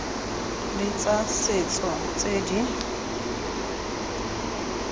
le tsa setso tse di